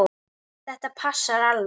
Þetta passar alveg.